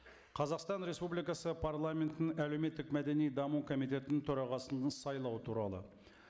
қазақстан республикасы парламентінің әлеуметтік мәдени даму комитетінің төрағасын сайлау туралы